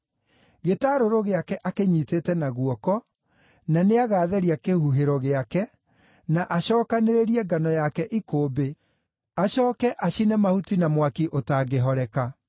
Gĩtarũrũ gĩake akĩnyiitĩte na guoko, na nĩagatheria kĩhuhĩro gĩake, na acookanĩrĩrie ngano yake ikũmbĩ, acooke acine mahuti na mwaki ũtangĩhoreka.”